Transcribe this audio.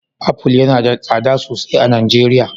Apple yana da tsada sosai a Najeriya.